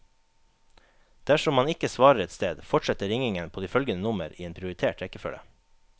Dersom man ikke svarer et sted, fortsetter ringingen på de følgende nummer i en prioritert rekkefølge.